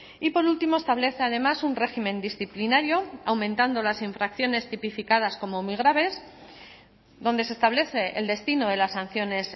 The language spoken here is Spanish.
y por último establece además un régimen disciplinario aumentando las infracciones tipificadas como muy graves donde se establece el destino de las sanciones